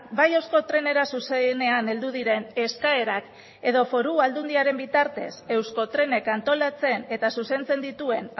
bai euskotrenera zuzenean heldu diren eskaerak edo foru aldundiaren bitartez euskotrenek antolatzen eta zuzentzen dituen